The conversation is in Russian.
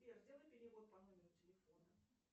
сбер сделай перевод по номеру телефона